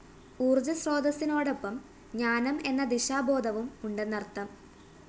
ഊര്‍ജ്ജസ്രോതസിനോടൊപ്പം ജ്ഞാനം എന്ന ദിശാബോധവും ഉണ്ടെന്നര്‍ത്ഥം